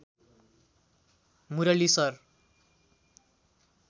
Murali sir